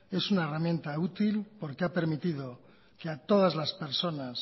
es una herramienta útil porque ha permitido que a todas las personas